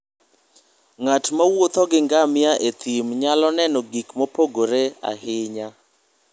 Ng'at mowuotho gi ngamia e thim nyalo neno gik mopogore ahinya.